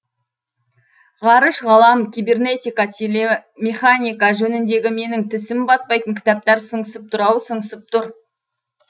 ғарыш ғалам кибернетика телемеханика жөніндегі менің тісім батпайтын кітаптар сыңсып тұр ау сыңсып тұр